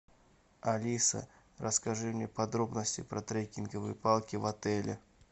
алиса расскажи мне подробности про трекинговые палки в отеле